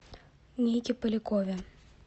нике полякове